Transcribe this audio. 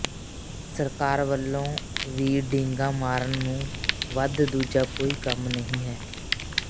ਸਰਕਾਰ ਵੱਲੋਂ ਵੀ ਡੀਂਗਾਂ ਮਾਰਨ ਤੋਂ ਵੱਧ ਦੂਜਾ ਕੋਈ ਕੰਮ ਨਹੀਂ ਹੈ